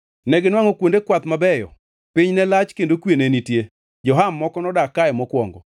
Neginwangʼo kuonde kwath mabeyo, piny ne lach kendo kwe ne nitie. Jo-Ham moko nodak kae mokwongo.